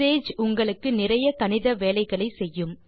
Sage உங்களுக்கு நிறைய கணித வேலைகளை செய்யும்